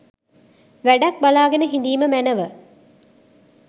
වැඩක් බලාගෙන හිඳීම මැනව